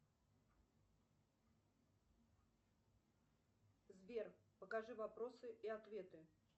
сбер покажи вопросы и ответы